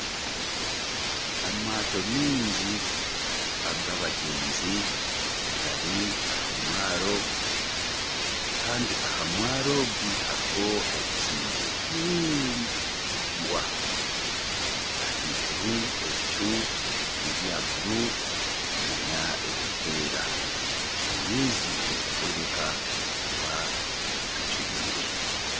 Amaato maingi ag'abagyenzi gari aha mwaro. Kandi aha mwaro ogu hariho ebizimbe bingi biraingwa. Ahaiguru ebicu n'ebya bururu n'ebirikwera. Amaizi nigareebeka kuba gacuriire!